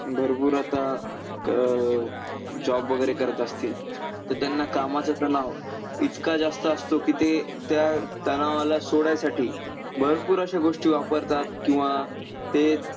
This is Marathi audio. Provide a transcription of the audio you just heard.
भरपूर आता अं job वगैरे करत असतील, तर त्यांना कामाचा तनाव इतका जास्त असतो की ते त्या तनावाला सोडायसाठी भरपूर अशा गोष्टी वापरतात, किंवा ते